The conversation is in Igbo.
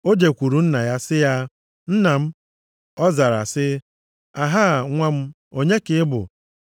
O jekwuuru nna ya sị ya, “Nna m.” Ọ zara sị, “Ahaa, nwa m, onye ka ị bụ?”